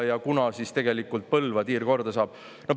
Ja millal Põlva tiir korda saab?